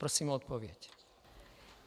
Prosím o odpověď.